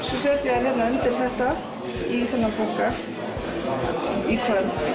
svo set ég þær hérna undir þetta í þennan bunka í kvöld